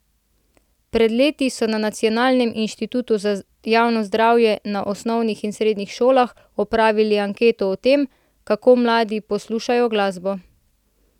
Pred leti so na Nacionalnem inštitutu za javno zdravje na osnovnih in srednjih šolah opravili anketo o tem, kako mladi poslušajo glasbo.